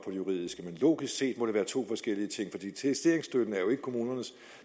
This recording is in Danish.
juridiske men logisk set må det være to forskellige ting for digitaliseringsstøtten er jo ikke kommunernes